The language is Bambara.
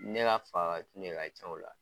Ne ka faka de ka ca u la.